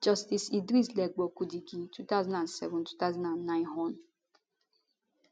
justice idris legbo kutigi 20072009 hon